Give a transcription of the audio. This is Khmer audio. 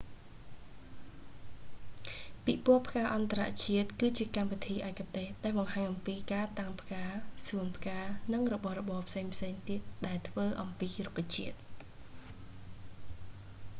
ពិពរណ៍ផ្កាអន្តរជាតិគឺជាកម្មវិធីឯកទេសដែលបង្ហាញអំពីការតាំងផ្កា សួនផ្កានិងរបស់របរផ្សេងៗទៀតដែលធ្វើអំពីរុក្ខជាតិ